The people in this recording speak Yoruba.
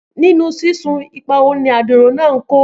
Nínú sísun, ipa wo ni adiro náà kó?